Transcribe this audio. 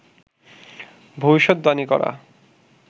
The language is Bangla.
ভবিষ্যদ্বাণী করা